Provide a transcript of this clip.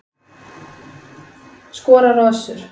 Skorar á Össur